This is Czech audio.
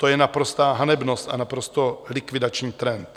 To je naprostá hanebnost a naprosto likvidační trend.